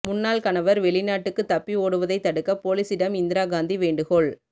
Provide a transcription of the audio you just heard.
முன்னாள் கணவர் வெளிநாட்டுக்குத் தப்பி ஓடுவதைத் தடுக்க போலிசிடம் இந்திரா காந்தி வேண்டுகோள்